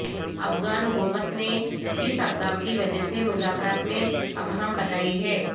افغان حکومت نے اس اقدام کی وجہ مذاکرات میں ابہام بتائی ہے